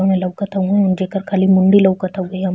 ओमे लउकत हउवे। जेकर खाली मुंडी लउकत हउवे। हम --